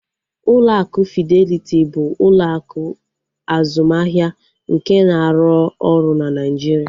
Ụlọ akụ Fideliti bụ ụlọ akụ azụmahịa nke na-arụ ọrụ na Naijiria